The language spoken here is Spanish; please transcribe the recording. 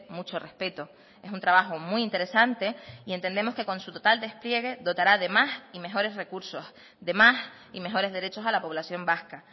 mucho respeto es un trabajo muy interesante y entendemos que con su total despliegue dotará de más y mejores recursos de más y mejores derechos a la población vasca